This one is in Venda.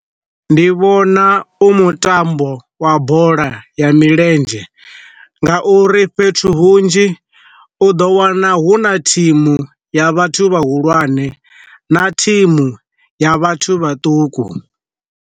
Ndi vhona u mutambo wa bola ya milenzhe, nga uri fhethu hunzhi u do wana hu na thimu ya vhathu vha hulwane na thimu ya vhathu vhaṱuku.